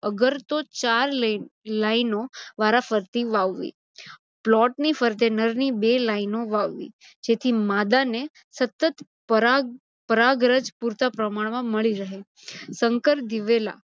અગરતો ચાર line ઓ વારા ફરતી વાવવી. પ્લોટની ફરતે નરની બે line ઓ વાવવી. જેથી માદાને સતત પરાગરજ પુરતા પ્રમાણમાં મળી રહે. સંકર દિવેલા